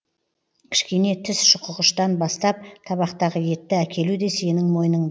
кішкене тіс шұқығыштан бастап табақтағы етті әкелу де сенің мойныңда